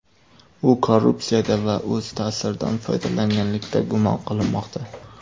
U korrupsiyada va o‘z ta’siridan foydalanganlikda gumon qilinmoqda.